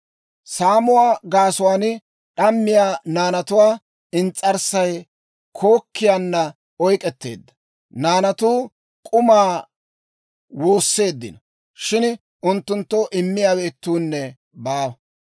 Saamuwaa gaasuwaan d'ammiyaa naanatuwaa ins's'arssay kookkiyaana oyk'k'etteedda; naanatuu k'umaa woosseeddino; shin unttunttoo immiyaawe ittuunne baawa.